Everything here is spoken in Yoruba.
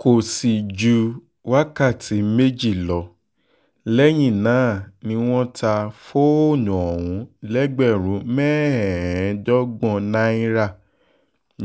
kò sì ju wákàtí méjì lọ lẹ́yìn náà ni wọ́n ta fóònù ọ̀hún lẹ́gbẹ̀rún mẹ́ẹ̀ẹ́dọ́gbọ̀n náírà